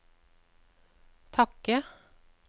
takke